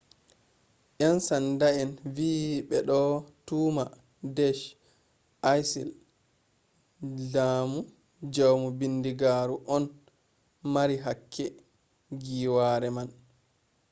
yansanda'en vi ɓe ɗo tuhma deash isil jaamu bindigaaru on mari hakke giiwaare man